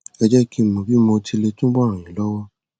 ẹ jẹ kí n mọ bí mo ti lè túbọ ràn yín lọwọ